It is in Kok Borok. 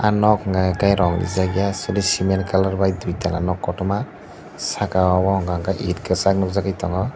ah nok unke ke rong reejak eia cement colour bu duita nok kotorma saka o unka ke eit kwchak nukjagui tongo.